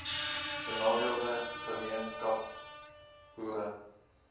benadeelde gemeenskappe boere